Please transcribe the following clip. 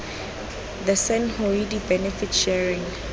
the san hoodia benefit sharing